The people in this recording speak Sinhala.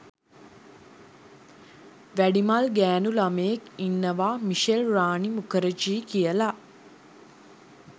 වැඩිමල් ගෑනු ළමයෙක් ඉන්නවා මිෂෙල් රානි මුඛර්ජී කියලා